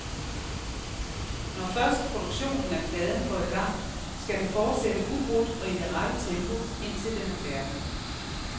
Når først produktionen af pladen går i gang, skal den fortsætte ubrudt og i det rette tempo, indtil den er færdig.